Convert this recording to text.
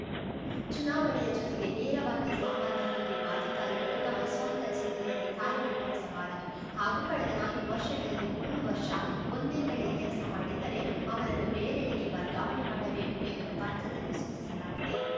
ಚುನಾವಣೆಯ ಜೊತೆಗೆ ನೇರವಾಗಿ ಸಂಬಂಧ ಹೊಂದಿರುವ ಅಧಿಕಾರಿಗಳು ತಮ್ಮ ಸ್ವಂತ ಜಿಲ್ಲೆಯಲ್ಲಿ ಕಾರ್ಯ ನಿರ್ವಹಿಸಬಾರದು ಹಾಗೂ ಕಳೆದ ನಾಲ್ಕು ವರ್ಷಗಳಲ್ಲಿ ಮೂರು ವರ್ಷ ಒಂದೇ ಕಡೆ ಕೆಲಸ ಮಾಡಿದ್ದರೆ ಅವರನ್ನು ಬೇರೆಡೆಗೆ ವರ್ಗಾವಣೆ ಮಾಡಬೇಕು ಎಂದು ಪತ್ರದಲ್ಲಿ ಸೂಚಿಸಲಾಗಿದೆ